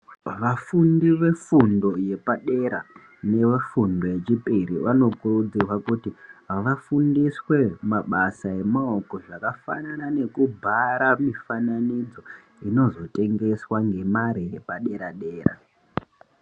Vafundi ve fundo ye padera neve fundo yechipiri vano kurudzirwa kuti vafundiswe mabasa emaoko zvakafanana neku bhara mifananidzo inozo tengeswa nge mare yepa dera dera.